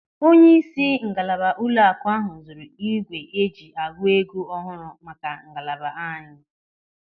Onyeisi ngalaba ụlọaku ahụ zụrụ ígwè eji agụ ego ọhụrụ maka ngalaba anyị.